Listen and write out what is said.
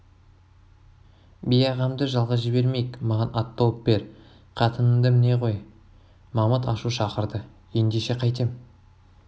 би ағамды жалғыз жібермейік маған ат тауып бер қатынымды міне ғой мамыт ашу шақырды ендеше қайтем